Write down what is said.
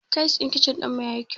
Tayal ɗin kichin ɗinmu yayi kyau.